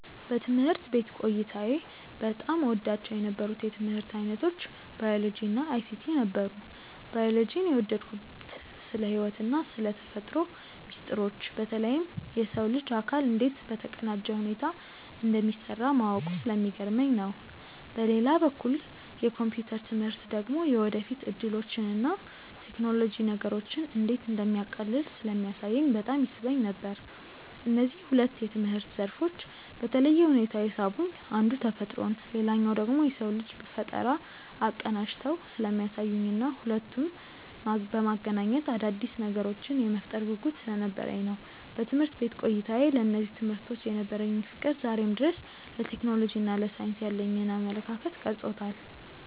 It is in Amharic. በትምህርት ቤት ቆይታዬ በጣም እወዳቸው የነበሩት የትምህርት ዓይነቶች ባዮሎጂ እና አይሲቲ ነበሩ። ባዮሎጂን የወደድኩት ስለ ሕይወትና ስለ ተፈጥሮ ሚስጥሮች በተለይም የሰው ልጅ አካል እንዴት በተቀናጀ ሁኔታ እንደሚሠራ ማወቁ ስለሚገርመኝ ነው። በሌላ በኩል የኮምፒውተር ትምህርት ደግሞ የወደፊት ዕድሎችንና ቴክኖሎጂ ነገሮችን እንዴት እንደሚያቃልል ስለሚያሳየኝ በጣም ይስበኝ ነበር። እነዚህ ሁለት የትምህርት ዘርፎች በተለየ ሁኔታ የሳቡኝ አንዱ ተፈጥሮን ሌላኛው ደግሞ የሰውን ልጅ ፈጠራ አቀናጅተው ስለሚያሳዩኝና ሁለቱንም በማገናኘት አዳዲስ ነገሮችን የመፍጠር ጉጉት ስለነበረኝ ነው። በትምህርት ቤት ቆይታዬ ለእነዚህ ትምህርቶች የነበረኝ ፍቅር ዛሬም ድረስ ለቴክኖሎጂና ለሳይንስ ያለኝን አመለካከት ቀርጾታል።